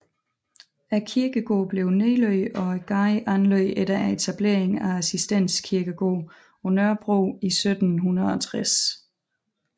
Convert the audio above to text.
Kirkegården blev nedlagt og gaden anlagt efter etableringen af Assistens Kirkegård på Nørrebro i 1760